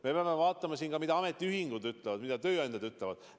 Me peame vaatama ka, mida ametiühingud ütlevad, mida tööandjad ütlevad.